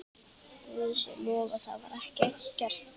Guði sé lof að það var ekki gert.